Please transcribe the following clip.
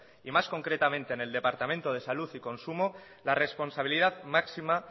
y más concretamente en el departamento de salud y consumo la responsabilidad máxima